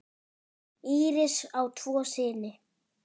Íris á tvo syni.